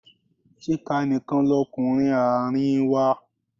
Chika nìkan lọkunrin àárín wa.